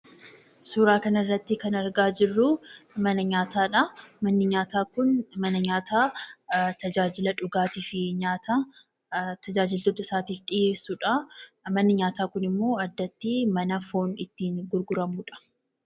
Suuraa kanarratti kan arginu mana nyaataadha. Manni nyaataa kun mana nyaataa tajaajila dhugaatii fi nyaataa tajaajiltoota isaatiif dhiyeessudha. Manni nyaataa kunimmoo addatti mana foon itti gurguramudha.